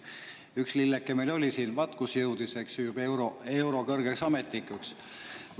Üks lilleke meil siin oli ja vaat kuhu jõudis, kõrgeks euroametnikuks.